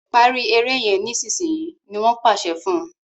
parí èrè yén nísìsiyìí! ní wón pàṣẹ fún.